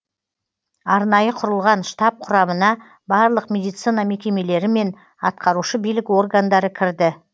арнайы құрылған штаб құрамына барлық медицина мекемелері мен атқарушы билік органдары кірді